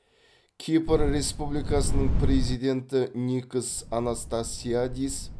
кипр республикасының президенті никос анастасиадис